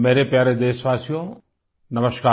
मेरे प्यारे देशवासियो नमस्कार